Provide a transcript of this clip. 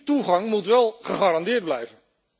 Die toegang moet wel gegarandeerd blijven.